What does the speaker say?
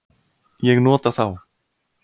Ég nota þá.